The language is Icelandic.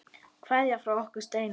Kveðja frá okkur Steina.